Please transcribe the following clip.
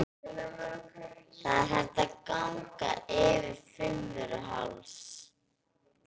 Það er hægt að ganga yfir Fimmvörðuháls.